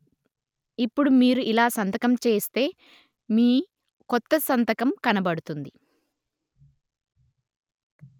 ఇప్పుడు మీరు ఇలా సంతకం చేస్తే మీ కొత్త సంతకం కనబడుతుంది